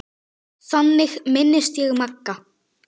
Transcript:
Þannig minnist ég Magga.